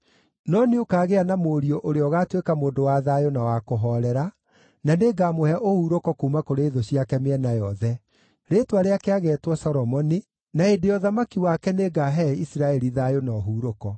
No nĩũkagĩa na mũriũ ũrĩa ũgaatuĩka mũndũ wa thayũ na wa kũhoorera, na nĩngamũhe ũhurũko kuuma kũrĩ thũ ciake mĩena yothe. Rĩĩtwa rĩake ageetwo Solomoni, na hĩndĩ ya ũthamaki wake nĩngaahe Isiraeli thayũ na ũhurũko.